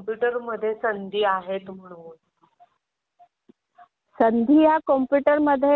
पाहिजे तशी नोकरी मिळत नाही. ती खूप दिवस झाले नोकरीच्या शोधात आहे. मग तू कसं काय म्हणते